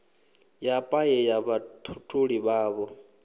ya paye ya vhatholi vhavho